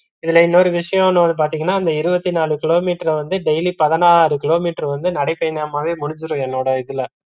இதுல இன்னொரு விஷயம் என்னனு பாத்தீங்கன்னா அந்த இருவத்தி நாலு கிலோமீட்டர் வந்து daily பதினாறு கிலோமீட்டர் வந்து நடைபயணமாவே முடிஞ்சுரும் என்னோட இதுல